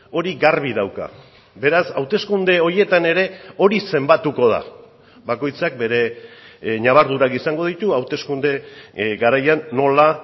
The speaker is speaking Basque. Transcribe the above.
hori garbi dauka beraz hauteskunde horietan ere hori zenbatuko da bakoitzak bere ñabardurak izango ditu hauteskunde garaian nola